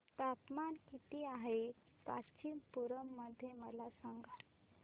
तापमान किती आहे कांचीपुरम मध्ये मला सांगा